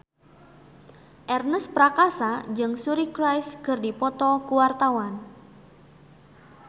Ernest Prakasa jeung Suri Cruise keur dipoto ku wartawan